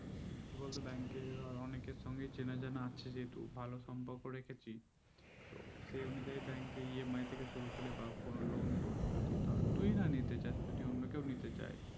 কি বলতো bank এর অনেকে সঙ্গে চিনা যান আছে যেহেতু ভালো সাম্যক রেখেছি তো সেই আনুযায়ী bankEMI থেকে শুরু করে কোনো loan টন যদি তুই না নিতে চাষ অন্য কেও নিতে চাই